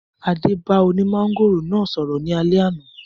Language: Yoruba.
Adé bá oní mángòrò náà sọ̀rọ̀ ní alẹ́ àná.